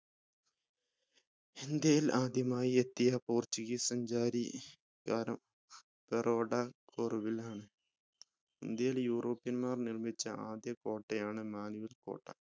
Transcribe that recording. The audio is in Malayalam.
ഇന്ത്യയിൽ ആദ്യമായി എത്തിയ portuguese സഞ്ചാരി ബറോഡ ഫോർഗിൽ ആണ് ഇന്ത്യയിൽ european മാർ നിർമ്മിച്ച ആദ്യ കോട്ടയാണ് മാനുവൽ കോട്ട